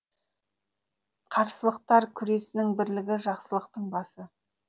қарсылықтар күресінің бірлігі жақсылықтың басы